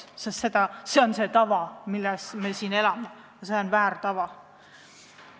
See on see tava, mille järgi me siin elame, ja see on vale tava.